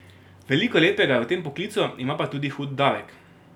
Veliko lepega je v tem poklicu, ima pa tudi hud davek.